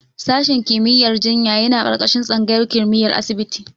Sashen kimiyyar jinya yana ƙarƙashin tsangayar kimiyyar asibiti.